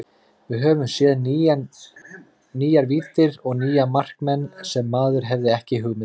Við höfum séð nýjar víddir og nýja markmenn sem maður hafði ekki hugmynd um.